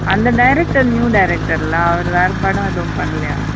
அந்த director new director ல அவரு வேற படம் ஏதும் பன்னலைய.